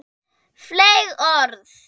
Fleyg orð.